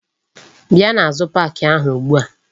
Bia n'azu pak ahu ugbu a!